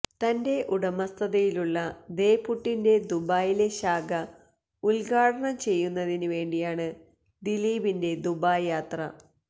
തന്റെ ഉടമസ്ഥതയിലുള്ള ദേ പുട്ടിന്റെ ദുബായിലെ ശാഖ ഉദ്ഘാടനം ചെയ്യുന്നതിനു വേണ്ടിയാണ് ദിലീപിന്റെ ദുബായ് യാത്ര